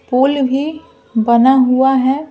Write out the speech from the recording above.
पुल भी बना हुआ है ।